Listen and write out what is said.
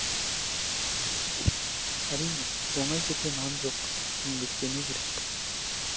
әрине оңай жерде нан жоқ еңбектену керек